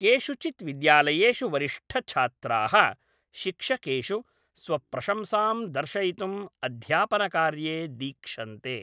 केषुचित् विद्यालयेषु वरिष्ठछात्राः शिक्षकेषु स्वप्रशंसां दर्शयितुं अध्यापनकार्ये दीक्षन्ते।